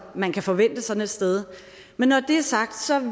man kan forvente sådan et sted men når det er sagt